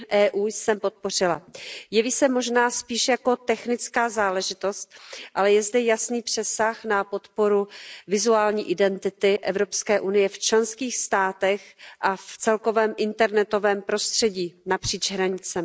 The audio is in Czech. .eu jsem podpořila. Jeví se možná spíše jako technická záležitost, ale je zde jasný přesah na podporu vizuální identity EU v členských státech a v celkovém internetovém prostředí napříč hranicemi.